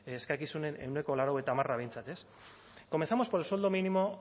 eskakizunen ehuneko laurogeita hamarra behintzat ez comencemos por el sueldo mínimo